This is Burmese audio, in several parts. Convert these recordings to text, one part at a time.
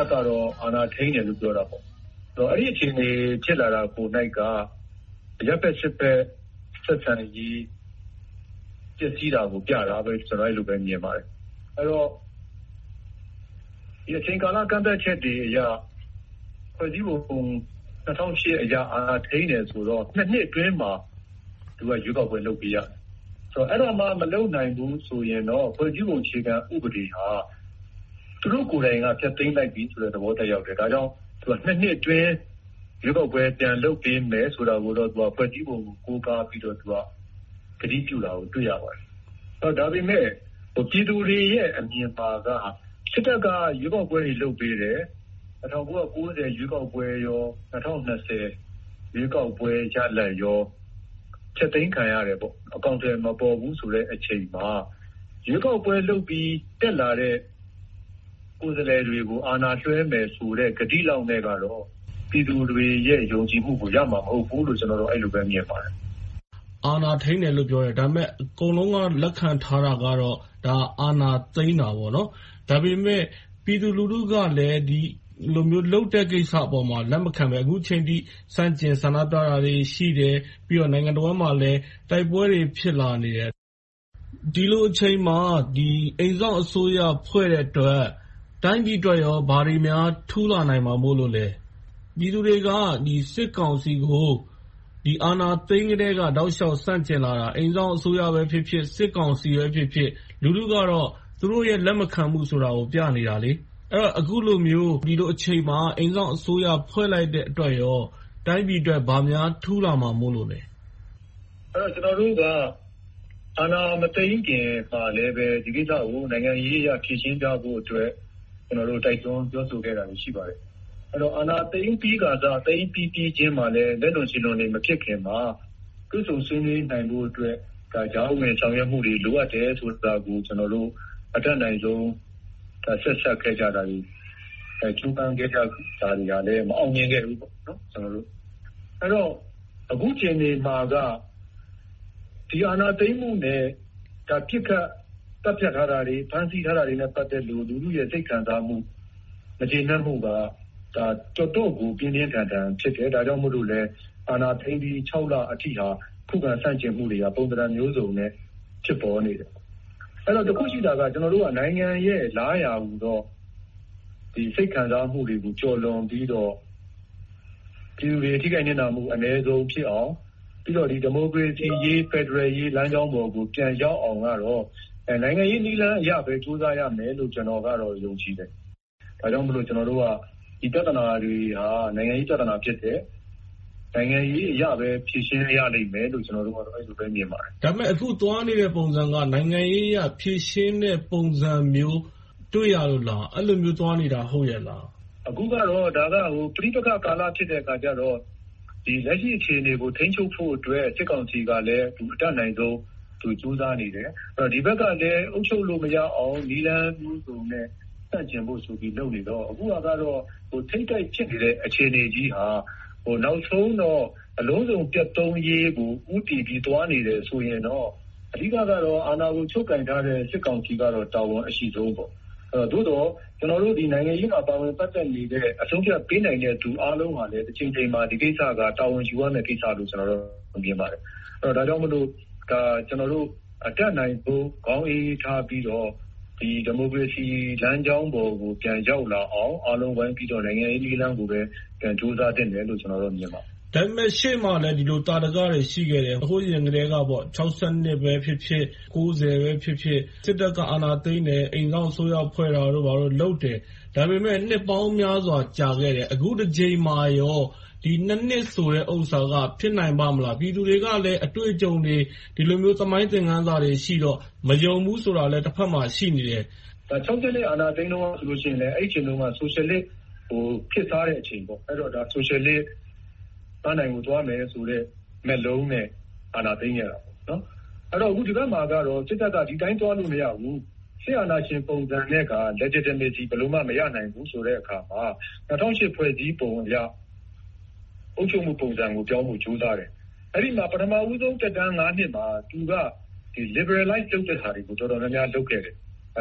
ပ်ကတော့ အာဏာထိန်းတယ်လို့ ပြောတာပေါ့။ အဲဒီလို အခြေအနေ ဖြစ်လာတာကိုယ်၌က အရပ်ဘက်-စစ်ဘက် ဆက်ဆံမှု ပျက်စီးတာကို ပြတာလို့ ကျနော် အဲဒီလိုပဲ မြင်ပါတယ်။ အဲဒီတော့ အချိန်ကာလကန့်သတ်ချက်တွေအရ ဖွဲ့စည်းပုံ ၂၀၀၈ အရ အာဏာထိန်းတယ်ဆိုတော့ နှစ်အတွင်းမှာ ရွေးကောက်ပွဲ လုပ်ပေးရမယ်။ အဲဒါမှ မလုပ်နိုင်ဘူးဆိုရင်တော့ ဖွဲ့စည်းပုံအခြေခံဟာ သူတို့ကိုယ်တိုင်က ဖျက်သိမ်းလိုက်ပြီဆိုတဲ့သဘော သက်ရောက်တယ်။ ဒါကြောင့် သူတို့က နှစ်အတွင်း ရွေးကောက်ပွဲ ပြန်လုပ်ပေးမယ်ဆိုတာကိုတော့ ဖွဲ့စည်းပုံကို ကိုးကားပြီးတော့ ကတိပြုတာကို တွေ့ရပါတယ်။ ဒါပေမဲ့ ပြည်သူတွေရဲ့ အမြင်မှာက စစ်တပ်က ရွေးကောက်ပွဲတွေ လုပ်ပေးတယ်။ ၁၉၉၀ ရွေးကောက်ပွဲ၊ ၂၀၂၀ ရွေးကောက်ပွဲရလဒ်တွေကို ဖျက်သိမ်းခံရတယ်။ အကောင်အထည် မပေါ်ဘူးဆိုတဲ့အချိန်မှာ ရွေးကောက်ပွဲလုပ်ပြီး တက်လာတဲ့ ကိုယ်စားလှယ်တွေ အာဏာလွှဲမယ်ဆိုတဲ့ ကတိလောက်နဲ့တော့ ပြည်သူတွေရဲ့ ယုံကြည်မှုကို ရမှာမဟုတ်ဘူးလို့ ကျနော်ကတော့ အဲဒီလိုမြင်ပါတယ်။ မေး ။ ။ အာဏာထိန်းတယ်လို့ပြောတယ်။ ဒါပေမဲ့ အကုန်လုံးက လက်ခံထားတာကတော့ ဒါက အာဏာသိမ်းတာ။ ဒါပေမဲ့ ပြည်သူလူထုကလည်း ဒီလိုမျိုး လုပ်တဲ့ကိစ္စပေါ်မှာ လက်မခံဘဲ၊ အခုအချိန်အထိ ဆန့်ကျင်ဆန္ဒပြတာတွေ ရှိတယ်။ ပြီးတော့ နိုင်ငံတဝှမ်းမှာလဲ တိုက်ပွဲတွေ ဖြစ်လာနေတယ်။ ဒီလိုအချိန်မှာ အိမ်စောင့်အစိုးရဖွဲ့တဲ့အတွက် တိုင်းပြည်အတွက်ကော ဘာတွေများ ထူးလာနိုင်မှာမို့လဲ။ ပြည်သူတွေက စစ်ကောင်စီကို အာဏာသိမ်းကတည်းက တောက်လျှောက်ဆန့်ကျင်လာတာ အိမ်စောင့်အစိုးရပဲဖြစ်ဖြစ်၊ စစ်ကောင်စီပဲဖြစ်ဖြစ် လူထုကတော့ သူတို့ရဲ့ လက်မခံမှုဆိုတာကို ပြနေတာလေ။ အခုလိုမျိုး ဒီလိုအချိန်မှာ အိမ်စောင့်အစိုးရ ဖွဲ့လိုက်တဲ့အတွက် တိုင်းပြည်အတွက် ဘာများထူးလာမှာမို့လဲ။ ဖြေ ။ ။ ကျနော်တို့က အာဏာမသိမ်းခင်မှာလဲ ဒီကိစ္စကို နိုင်ငံရေးအရ ဖြေရှင်းကြဖို့ကို တိုက်တွန်းပြောဆိုခဲ့တာတွေ ရှိပါတယ်။ အာဏာသိမ်းပြီးခါစ၊ သိမ်းပြီးပြီချင်းမှာလဲ လက်လွန်ခြေလွန်တွေ မဖြစ်ခင်မှာ တွေ့ဆုံဆွေးနွေးနိုင်ဖို့အတွက် ကြားဝင်ဖြေရှင်းမှုတွေ လိုအပ်တယ်ဆိုတာတွေကို ကျနော်တို့ အတတ်နိုင်ဆုံး စေ့စပ်ခဲ့တာတွေ၊ ကြိုးပမ်းခဲ့တာတွေကလဲ မအောင်မြင်ခဲ့ဘူးပေါ့။ အဲဒီတော့ အခုအခြေအနေမှာက ဒီအာဏာသိမ်းမှုနဲ့ ပစ်ခတ်သတ်ဖြတ်ထားတာတွေ၊ ဖမ်းဆီးထားတာတွေနဲ့ ပတ်သက်ပြီး လူထုရဲ့ စိတ်ခံစားမှု၊ မကျေနပ်မှုက တော်တော့်ကို ပြင်းပြင်းထန်ထန် ဖြစ်တယ်။ ဒါကြောင့်မို့လဲ အာဏာထိန်းပြီး ခြောက်လအထိဟာ ခုခံတိုက်ခိုက်မှုတွေက ပုံသဏ္ဍာန်မျိုးစုံနဲ့ ဖြစ်ပေါ်နေတယ်။ အဲဒီတော့ တစ်ခုရှိတာက နိုင်ငံရဲ့ လားရာဟူသော စိတ်ခံစားမှုတွေ ကျော်လွန်ပြီးတော့ ပြည်သူတွေ ထိခိုက်နစ်နာမှု အနည်းဆုံးဖြစ်အောင်။ ပြီးတော့ ဒီမိုကရေစီအရေး၊ ဖယ်ဒရယ်ရေး လမ်းကြောင်းပေါ်ကို ပြန်ရောက်အောင်ကတော့ နိုင်ငံရေးနည်းလမ်းအရပဲ ကြိုးပမ်းရမယ်လို့ပဲ ကျနော်ကတော့ ယုံကြည်တယ်။ ဒါကြောင့်မို့ ကျနော်တို့က ဒီပြဿနာတွေက နိုင်ငံရေးပြဿနာတွေ ဖြစ်တယ်။ နိုင်ငံရေးအရပဲ ဖြေရှင်းရလိမ့်မယ်လို့ပဲ ကျနော်တို့က အဲဒီလိုပဲ မြင်ပါတယ်။ မေး ။ ။ ဒါပေမဲ့ အခုသွားနေတဲ့ ပုံစံက နိုင်ငံရေးအရ ဖြေရှင်းမယ့်ပုံစံမျိုး တွေ့ရလို့လား။ အဲဒီလိုမျိုး သွားနေတာ ဟုတ်ရဲ့လား။ ဖြေ ။ ။ အခုကတော့ ပဋိပက္ခကာလ ဖြစ်နေတဲ့ကာလဖြစ်တော့ လက်ရှိအခြေအနေကို ထိန်းချုပ်ဖို့အတွက် စစ်ကောင်စီကလဲ အတတ်နိုင်ဆုံး သူကြိုးစားနေတယ်။ ဒီဘက်ကလဲ အုပ်ချုပ်လို့မရအောင် နည်းလမ်းမျိုးစုံနဲ့ ဆန့်ကျင်ဖို့ လုပ်နေကြတော့ အခုကတော့ ထိပ်တိုက်ဖြစ်နေတဲ့ အခြေအနေကြီးက နောက်ဆုံးတော့ အလုံးစုံပျက်သုန်းရေးကို ဦးတည်ပြီး သွားနေတယ်ဆိုရင်တော့ အဓိကတော့ အာဏာကို ချုပ်ကိုင်ထားတဲ့ စစ်ကောင်စီကတော့ တာဝန်အရှိဆုံးပေါ့။ သို့သော် ကျနော်တို့က နိုင်ငံရေးမှာ ပါဝင်ပတ်သက်နေတဲ့ အဆုံးအဖြတ်ပေးနိုင်တဲ့ လူအားလုံးဟာလည်း တချိန်ချိန်မှာ ဒီကိစ္စက တာဝန်ယူရမယ့်ကိစ္စလို့ ကျနော်ကတော့ မြင်ပါတယ်။ ဒါကြောင့်မို့ ကျနော်တို့ အတတ်နိုင်ဆုံး ခေါင်းအေးအေးထားပြီးတော့ ဒီမိုကရေစီလမ်းကြောင်းပေါ်ကို ပြန်ရောက်လာအောင် အားလုံးဝိုင်းပြီးတော့ နိုင်ငံရေးနည်းလမ်းကိုပဲ ကြိုးစားသင့်တယ်လို့ ကျနော်တော့ မြင်ပါတယ်။ မေး ။ ။ ဒါပေမဲ့ ရှေ့မှာလဲ ဒီလိုသာဓကတွေ ရှိနေခဲ့တယ်။ ဟိုးအရင်ကတည်းက ၆၂ ပဲဖြစ်ဖြစ်၊ ၉၀ ပဲဖြစ်ဖြစ် စစ်တပ်က အာဏာသိမ်းတယ်။ အိမ်စောင့်အစိုးရ ဘာတို့ဖွဲ့တာတို့ လုပ်တယ်။ ဒါပေမဲ့ နှစ်ပေါင်းများစွာ ကြာခဲ့တယ်။ အခုတစ်ကြိမ်မှာကော နှစ်ဆိုတဲ့ဟာက ဖြစ်နိုင်ပါ့မလား။ ပြည်သူတွေကလဲ အတွေ့အကြုံတွေ ဒီလိုသမိုင်းသင်ခန်းစာတွေ ရှိကြတော့ မယုံဘူးဆိုတာလဲ တဘက်မှာ ရှိနေတယ်။ ဖြေ ။ ။ ၆၂ အာဏာသိမ်းတုန်းကလဲ အဲဒီအချိန်မှာ ဆိုရှယ်လစ်ခေတ်စားတဲ့အချိန်ပေါ့။ ဆိုရှယ်လစ်ပန်းတိုင်ကို သွားမယ်ဆိုတဲ့ မက်လုံးနဲ့ အာဏာသိမ်းခဲ့တယ်။ အဲဒီတော့ ဒီဘက်မှာတော့ စစ်တပ်က ဒီအတိုင်းသွားလို့ မရဘူး၊ စစ်အာဏာရှင်ပုံစံနဲ့ legitimacy ဘယ်လိုမှ မရနိုင်ဘူးဆိုတဲ့အခါ ၂၀၀၈ ဖွဲ့စည်းပုံအရ အုပ်ချုပ်မှုပုံစံကို ပြောင်းဖို့ ကြိုးစားတယ်။ အဲဒီမှာ ပထမဦးဆုံး သက်တမ်း နှစ်မှာ၊ သူက Liberalize လုပ်တဲ့ဟာတွေကို တော်တော်များများ လုပ်ခဲ့တယ်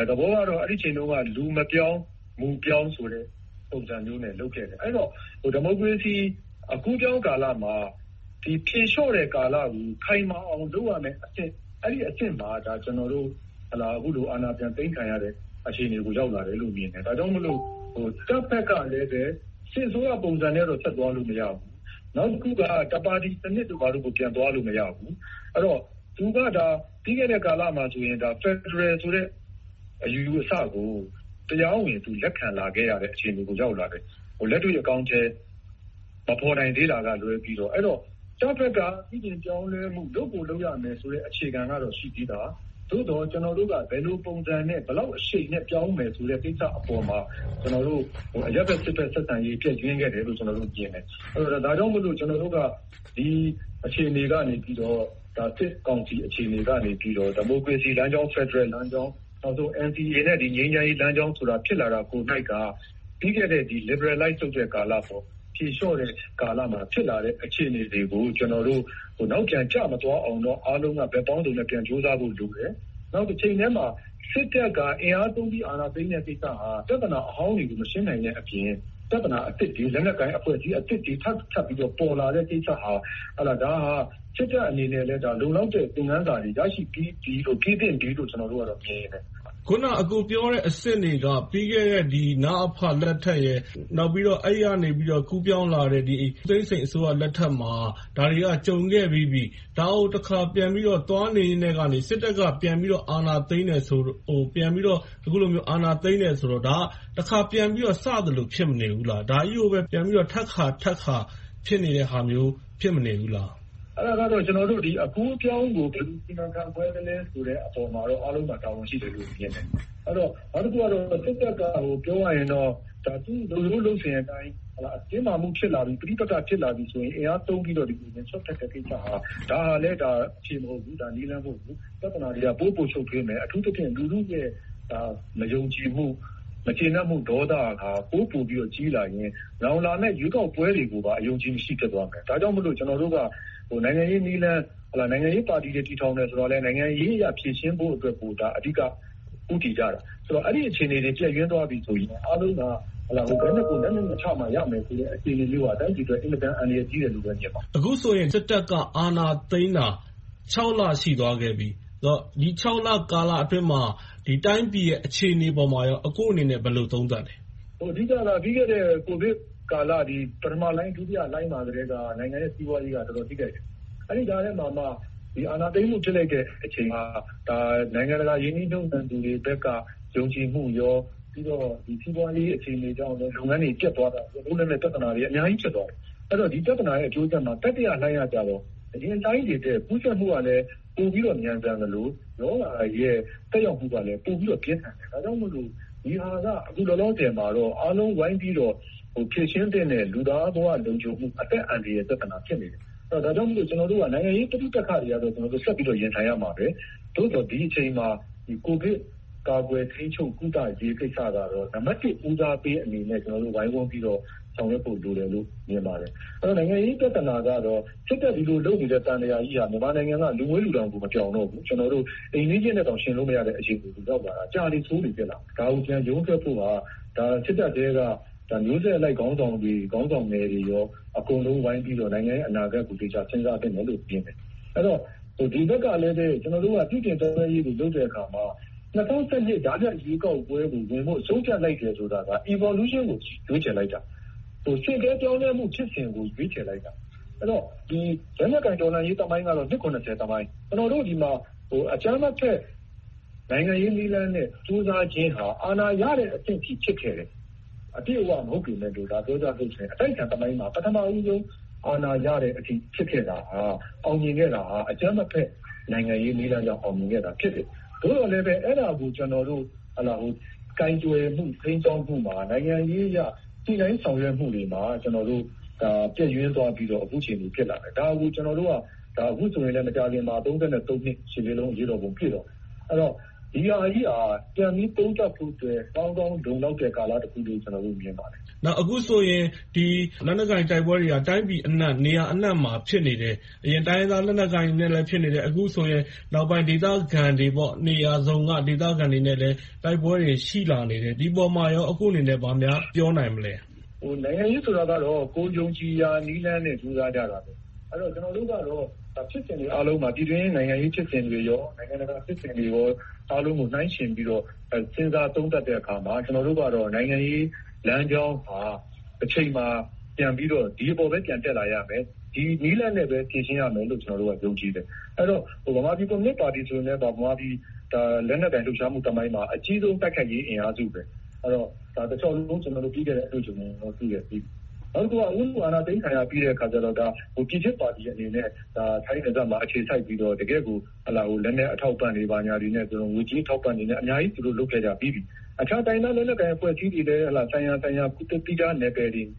။ သဘောကတော့ အဲဒီအချိန်တုန်းက လူမပြောင်း၊ မူပြောင်းဆိုတဲ့ ပုံစံမျိုးနဲ့ လုပ်ခဲ့တယ်။ အဲဒီတော့ ဒီမိုကရေစီ အကူးအပြောင်းကာလမှာ ဖြေလျှော့တဲ့ကာလကို ခိုင်မာအောင် လုပ်ရမယ့်အဆင့် - အဲဒီအဆင့်မှာ ကျနော်တို့ အခုလို အာဏာပြန်သိမ်းခံရတယ်ဆိုတဲ့ အခြေအနေကို ပြန်ရောက်လာတယ်လို့ မြင်တယ်။ ဒါကြောင့်မို့ တပ်ဘက်ကလဲ စစ်အစိုးရပုံစံနဲ့ ဆက်သွားလို့မရဘူး။ နောက်တစ်ခုက တစ်ပါတီစနစ်တို့ ဘာတို့ကို ပြန်သွားလို့ မရဘူး။ အဲဒီတော့ သူက ပြီးခဲ့တဲ့ကာလမှာဆိုရင် ဖယ်ဒရယ်ဆိုတဲ့ အယူအဆကို တရားဝင်လက်ခံလာရတဲ့ အခြေအနေကို ရောက်လာတယ်။ လက်တွေ့အကောင်အထည် မဖော်နိုင်သေးတာကလွဲပြီ။ အဲဒီတော့ တပ်ဘက်က အပြောင်းအလဲ လုပ်ကိုလုပ်ရမယ်ဆိုတဲ့ အခြေခံကတော့ ရှိပြီသား။ သို့သော် ကျနော်တို့က ဘယ်လိုပုံစံနဲ့ ဘယ်လောက်အရှိန်နဲ့ ပြောင်းမယ်ဆိုတဲ့ ကိစ္စပေါ်မှာ ကျနော်တို့ အရပ်ဘက်စစ်ဘက် ဆက်ဆံရေး ပျက်ယွင်းခဲ့တယ်လို့ ကျနော်တို့ မြင်တယ်။ ဒါကြောင့်မို့ ကျနော်တို့က ဒီအခြေအနေကနေ စစ်ကောင်စီကနေ ဒီမိုကရေစီလမ်းကြောင်း၊ ဖယ်ဒရယ်လမ်းကြောင်း၊ နောက်ဆုံး NCA နဲ့ ငြိမ်းချမ်းရေးလမ်းကြောင်း ဖြစ်လာတာကိုယ်က ပြီးခဲ့တဲ့ Liberalize လုပ်တဲ့ကာလ။ ဖြေလျှော့တဲ့ ကာလမှာ ဖြစ်လာတဲ့ အခြေအနေတွေကို ကျနော်တို့ နောက်ပြန်ကျမသွားအောင် အားလုံးက ဘက်ပေါင်းစုံနဲ့ ပြန်ကြိုးစားဖို့လိုတယ်။ နောက်တချိန်တည်းမှာ စစ်တပ်က အင်အားသုံးပြီးတော့ အာဏာသိမ်းတဲ့ကိစ္စဟာ ပြဿနာဟောင်းတွေကို မရှင်းနိုင်သည်အပြင် ပြဿနာအသစ်တွေ လက်နက်ကိုင်အသစ်တွေ ထပ်ထပ်ပြီးတော့ ပေါ်လာတဲ့ကိစ္စဟာ စစ်တပ်အနေနဲ့လဲ လုံလောက်တဲ့ သင်ခန်းစာတွေ ရရှိပြီးပြီ၊ ထိန်းသင့်ပြီလို့ ကျနော်တို့က မြင်တယ်။ မေး ။ ။ အခုန အကိုပြောတဲ့အဆင့်တွေက ပြီးခဲ့တဲ့ နအဖလက်ထက်နဲ့ နောက်ပြီးတော့ အဲဒီကနေ ကူးပြောင်းလာတဲ့ ဦးသိန်းစိန်အစိုးရလက်ထက်မှာ ဒါတွေက ကြုံခဲ့ပြီးပြီ။ ဒါကိုတဖန် သွားနေရင်းကနေ စစ်တပ်ကပြန်ပြီးတော့ အာဏာသိမ်းတယ်ဆိုတော့ ဒါက တစ်ခါပြန်ပြီးတော့ စသလို ဖြစ်မနေဘူးလား။ ဒါကြီးကိုပဲ ထပ်ခါထပ်ခါ ဖြစ်နေတဲ့ဟာမျိုး ဖြစ်မနေဘူးလား။ ဖြေ ။ ။ အဲဒါကတော့ အကူးအပြောင်းကို ဘယ်လိုစီမံခန့််ခွဲလဲဆိုတဲ့ အပေါ်မှာတော့ အားလုံးမှာ တာဝန်ရှိတယ်လို့ မြင်တယ်။ နောက်တစ်ခုက စစ်တပ်က ပြောရင်တော့ လုပ်ရိုးလုပ်စဉ်အတိုင်း တင်းမာမှုရှိလာပြီ၊ ပဋိပက္ခ ဖြစ်လာပြီဆိုရင် အင်အားသုံးပြီးတော့ စွက်ဖက်တဲ့ကိစ္စဟာ ဒါကလဲ အဖြေမဟုတ်ဘူး။ နည်းလမ်းမဟုတ်ဘူး။ ပြဿနာတွေက ပိုမိုရှုပ်ထွေးမယ်။ အထူးသဖြင့် လူထုရဲ့ မယုံကြည်မှု၊ မကျေနပ်မှု၊ ဒေါသက ပိုမိုပြီး ကြီးလာရင် နောင်လာမယ့် ရွေးကောက်ပွဲတွေကိုပါ အယုံအကြည်မရှိ ဖြစ်သွားမယ်။ ဒါကြောင့်မို့ ကျနော်တို့က နိုင်ငံရေးနည်းလမ်း၊ နိုင်ငံရေးပါတီတွေ တည်ထောင်တယ်ဆိုတာလဲ နိုင်ငံရေးအရ ဖြေရှင်းဖို့ကို အဓိက ဦးတည်ကြတယ်။ အဲဒီအချိန်တွေ ပျက်ယွင်းသွားကြပြီဆိုရင် အားလုံးက ဘယ်သူကို လက်နက်နဲ့ချမှ ရမယ်ဆိုတဲ့ အသိမျိုးက တိုင်းပြည်အတွက် အင်မတန် အန္တရာယ်ကြီးတယ်လို့ မြင်ပါတယ်။ မေး ။ ။ အခုဆိုရင် စစ်တပ်က အာဏာသိမ်းတာ ခြောက်လ ရှိသွားခဲ့ပြီ။ ဒီခြောက်လကာလအတွင်းမှာ တိုင်းပြည်ရဲ့ အခြေအနေပေါ်မှာကော အကိုအနေနဲ့ ဘယ်လိုသုံးသပ်လဲ။ ဖြေ ။ ။ အဓိက ပြီးခဲ့တဲ့ ကိုဗစ်ကာလ ပထမလှိုင်း၊ ဒုတိယလှိုင်းမှာကတည်းက နိုင်ငံရဲ့ စီးပွားရေးက တော်တော်လေး ထိခိုက်တယ်။ အဲဒီကြားထဲမှာမှ အာဏာသိမ်းမှု ဖြစ်လိုက်တဲ့အချိန်မှာ နိုင်ငံတကာ ရင်းနှီးမြုပ်နံှမှုသူတွေဘက်က ယုံကြည်မှုရော၊ ပြီးတော့ စီးပွားရေးအခြေအနေကြောင့် လုပ်ငန်းတွေ ပျက်သွားတာကြောင့် ပြဿနာတွေ အများကြီးဖြစ်သွားတယ်။ ဒီပြဿနာရဲ့ အကျိုးဆက်မှာ တတိယလှိုင်းမှာတော့ အရင်လှိုင်းတွေထက် ကူးစက်မှုကလည်း ပိုပြီးတော့မြန်ဆန်သလို၊ ရောဂါရဲ့ သက်ရောက်မှုကလည်း ပိုပြီးတော့ ပြင်းထန်တယ်။ ဒါကြောင့်မို့လို့ ဒီဟာက အခုလောလောဆယ်မှာတော့ အားလုံးဝိုင်းပြီးတော့ ဖြေရှင်းသင့်တဲ့ လူသားဘဝလုံခြုံမှု အသက်အန္တရာယ်တွေ ပြဿနာ ဖြစ်နေတယ်။ ဒါကြောင့်မို့ ကျနော်တို့က နိုင်ငံရေးပဋိပက္ခတွေကို ဆက်ပြီးတော့ ရင်ဆိုင်ရမှာပဲ။ သို့သော် ဒီအချိန်မှာ ကိုဗစ်ကာကွယ်ထိန်းချုပ်ကုသရေး ကိစ္စကတော့ နံပတ်တစ် ဦးစားပေးအနေနဲ့ ကျနော်တို့ ဝိုင်းဝန်းပြီးတော့ ဆောင်ရွက်ဖို့ လိုတယ်လို့တော့ မြင်ပါတယ်။ နိုင်ငံရေးပြဿနာကတော့ စစ်တပ် ဒီလိုလုပ်နေတဲ့ သံသရာကြီးက မြန်မာနိုင်ငံက လူမွှေးလူတောင် မပြောင်တော့ဘူး။ ကျနော်တို့ အိမ်နီးချင်းတွေနဲ့တောင် မယှဉ်နိုင်တဲ့ အခြေအနေ၊ ကြာလေဆိုးလေ ဖြစ်လာတယ်။ ဒါကို ရုန်းထွက်ဖို့က စစ်တပ်ထဲက မျိုးဆက်အလိုက် ခေါင်းဆောင်တွေ၊ ခေါင်းဆောင်ငယ်တွေကော အကုန်လုံးဝိုင်းပြီးတော့ နိုင်ငံရဲ့ အနာဂတ်ကို သေချာစဉ်းစားသင့်တယ်လို့ မြင်တယ်။ အဲဒီတော့ ဒီဘက်ကလည်း ကျနော်တို့က ပြုပြင်ပြောင်းလဲရေးကို လုပ်တဲ့အခါမှာ ၂၀၁၂ ကြားဖြတ်ရွေးကောက်ပွဲကို ဝင်ဖို့ ဆုံးဖြတ်လိုက်တယ်ဆိုတာက Evolution ကို ရွေးချယ်လိုက်တာ။ ဆင့်ကဲပြောင်းလဲမှုဖြစ်စဉ်ကို ရွေးချယ်လိုက်တာ။ အဲဒီတော့ လက်နက်ကိုင်တော်လှန်ရေး သမိုင်းကတော့ အနှစ် သမိုင်း။ ကျနော်တို့ဆီမှာ အကြမ်းမဖက် နိုင်ငံရေးနည်းလမ်းနဲ့ ကြိုးစားခြင်းက အာဏာရတဲ့အထိ ဖြစ်ခဲ့တယ်။ အပြည့်အဝ မဟုတ်ပေမယ့် ပြောကြမယ်ဆိုရင် အတိုက်အခံသမိုင်းမှာ ပထမဦးဆုံး အာဏာရတဲ့အထိ ဖြစ်ခဲ့တာဟာ အောင်မြင်ခဲ့တာဟာ အကြမ်းမဖက် နိုင်ငံရေးနည်းလမ်းကြောင့် အောင်မြင်ခဲ့တာ ဖြစ်တယ်။ သို့သော်လဲ အဲဒါကို ကျနော်တို့ ကိုင်တွယ်မှု၊ ထိန်းကျောင်းမှုမှာ နိုင်ငံရေးအရ ညှိနှိုင်းဆောင်ရွက်မှုတွေမှာ ကျနော်တို့ ပျက်ယွင်းသွားပြီးတော့ အခုအခြေအနေ ဖြစ်လာတယ်။ ဒါကို ကျနော်တို့က အခုမကြာခင်မှာ နှစ်မြောက် ရှစ်လေးလုံး အရေးတော်ပုံပြည့်တော့မယ်။ ဒီဟာကြီးဟာ ပြန်ပြီးသုံးသပ်ဖို့အတွက် ကောင်းကောင်းလုံလောက်တဲ့ ကာလတစ်ခုလို့ ကျနော်တို့ မြင်ပါတယ်။ မေး ။ ။ အခုဆိုရင် လက်နက်ကိုင် တိုက်ပွဲတွေဟာ တိုင်းပြည်အနံှ့ နေရာအနှံ့မှာ ဖြစ်နေတယ်။ အရင်တိုင်းရင်းသား လက်နက်ကိုင်တွေနဲ့လည်း ဖြစ်နေတယ်။ အခုဆိုရင် နောက်ပိုင်း ဒေသခံတွေ နေရာစုံက ဒေသခံတွေနဲ့လည်း တိုက်ပွဲတွေ ရှိလာနေတယ်။ ဒီအပေါ် အကိုအနေနဲ့ ဘာများပြောနိုင်မလဲ။ ဖြေ ။ ။ နိုင်ငံရေးဆိုတာကတော့ ကိုယ်ယုံကြည်ရာနည်းလမ်းနဲ့ ကြိုးစားကြတာပဲ။ ကျနော်တို့ကတော့ ပြည်တွင်းနိုင်ငံရေး ဖြစ်စဉ်တွေ၊ နိုင်ငံတကာဖြစ်စဉ်တွေအားလုံးကို နှိုင်းယှဉ်ပြီးတော့ စဉ်းစားသုံးသပ်တဲ့အခါမှာ ကျနော်တို့ကတော့ နိုင်ငံရေးလမ်းကြောင်းဟာ တချိန်မှာ ပြန်ပြီးတော့ ဒီအပေါ်ပဲ ပြန်တက်လာရမယ်။ ဒီနည်းလမ်းနဲ့ပဲ ဖြေရှင်းရမယ်လို့ ကျနော်တို့က ယုံကြည်တယ်။ အဲဒီတော့ ဗမာပြည်ကွန်မြူနစ်ပါတီဆိုလည်း လက်နက်ကိုင်လှုပ်ရှားမှု သမိုင်းမှာ အကြီးဆုံး တိုက်ခိုက်ရေးအင်အားစုပဲ။ နောက်တစ်ခုက ဦးနု အာဏာသိမ်းခံရပြီးနောက်ပိုင်းမှာ ပြည်ချစ်ပါတီအနေနဲ့ ထိုင်းနယ်စပ်မှာ အခြေစိုက်ပြီးတော့ တကယ့်ကို လက်နက်အထောက်အပံ့တွေ၊ ငွေကြေးအထောက်အပံ့တွေနဲ့ သူတို့အများကြီး လုပ်ခဲ့ကြပြီးပြီ။ အခြားလက်နက်ကိုင် အဖွဲ့အစည်းတွေလည်း ဆိုင်ရာဆိုင်ရာ သီးခြားနယ်ပယ်တွေ၊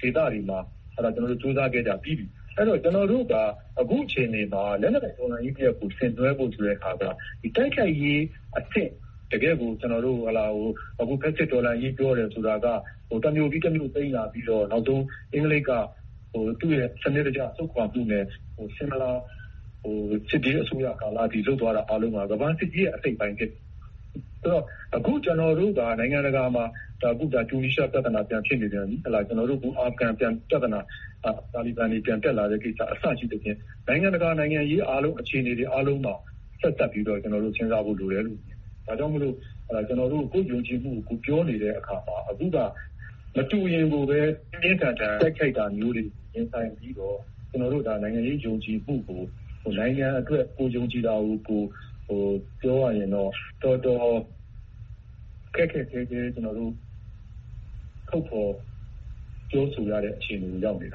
ဒေသတွေမှာ ကြိုးစားခဲ့ကြပြီးပြီ။ အဲဒီတော့ ကျနော်တို့က အခုအခြေအနေမှာ လက်နက်ကိုင်တော်လှန်ရေးတရပ်ကို ဆင်နွှဲဖို့ဆိုတာ တိုက်ခိုက်ရေးအဆင့် တကယ့်ကို - တော်လှန်ရေးပြောတယ်ဆိုတာက တစ်မြို့ပြီးတစ်မြို့ သိမ်းလာပြီးတော့ နောက်ဆုံး အင်္ဂလိပ်က စနစ်တကျ ဆုတ်ခွါမှုနဲ့ ဆင်းမလာစစ်ဘေးအစိုးရကာလအထိ လုပ်သွားတာက ကမ္ဘာစစ်ကြီးရဲ့ အစိတ်အပိုင်းဖြစ်တယ်။ အခု ကျနော်တို့က နိုင်ငံတကာမှာ တူးနီးရှား ပြဿနာ ပြန်ဖြစ်နေပြန်ပြီ။ အာဖရိဂန်ပြဿနာ တာလီဘန်တွေ ပြန်တက်လာတဲ့ကိစ္စ အစရှိသဖြင့် နိုင်ငံတကာ နိုင်ငံရေးအားလုံး အခြေအနေတွေအားလုံးက ဆက်စပ်ပြီးတော့ စဉ်းစားဖို့လိုတယ်။ ဒါကြောင့်မို့ ကျနော်တို့ ကိုယ့်ယုံကြည်မှုကို ပြောနေတဲ့အခါမှာ အခုက မတူရင်ဘဲ၊ ပြင်းပြင်းထန်ထန် တိုက်ခိုက်တာမျိုးတွေ ရင်ဆိုင်ခံနေရပြီးတော့ ကျနော်တို့ နိုင်ငံရေးယုံကြည်မှုကို နိုင်ငံအတွက် ကိုယ်ယုံကြည်တာကို ပြောရရင်တော့ တော်တော်ခက်ခက်ခဲခဲ ထုတ်ဖော်ပြောဆိုရတဲ့ အခြေအနေကို ရောက်နေတ